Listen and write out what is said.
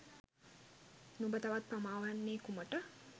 නුඹ තවත් පමා වන්නේ කුමට?